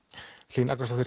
Hlín Agnarsdóttir